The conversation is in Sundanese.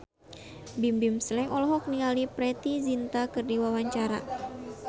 Bimbim Slank olohok ningali Preity Zinta keur diwawancara